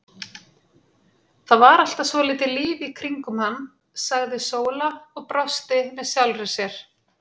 Það var alltaf svolítið líf í kringum hann, sagði Sóla og brosti með sjálfri sér.